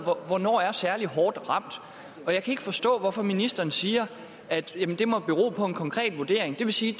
hvornår er er særlig hårdt ramt jeg kan ikke forstå hvorfor ministeren siger at det må bero på en konkret vurdering det vil sige